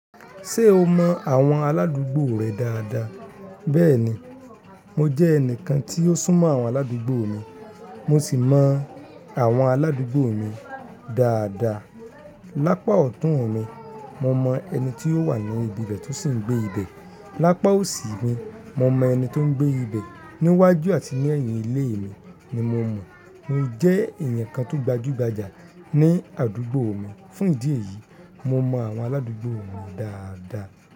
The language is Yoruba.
Ṣé o mọ àwọn aládùúgbò rẹ dáadáa? Bẹ́ẹ̀ni, mo jẹ́ ẹnìkan tí ó sún mọ́ àwọn aládùúgbò mi, mo sì mọ àwọn aládùúgbò mi dáadáa. Lápa ọ̀tún mi, mo mọ ẹni tí ó wà ní ibi ibẹ̀ tó sì ń gbé ibẹ̀. Lápa òsì mi, mo mọ ẹni tó ń gbé ibẹ̀. Ní iwájú àti ní èyìn ilé mi ni mo mọ̀. Mo jẹ́ èèyàn kan tó gbajúgbajà ní àdúgbò mi. Fún ìdí èyí, mo mọ àwọn aládugbò mi dáadáa.